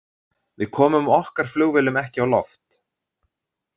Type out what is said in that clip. Við komum okkar flugvélum ekki á loft.